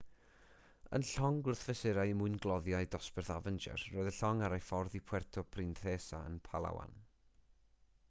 yn llong gwrthfesurau mwyngloddiau dosbarth avenger roedd y llong ar ei ffordd i puerto princesa yn palawan